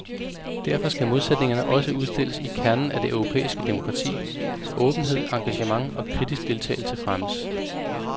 Derfor skal modsætningerne også udstilles i kernen af det europæiske demokrati, så åbenhed, engagement og kritisk deltagelse fremmes.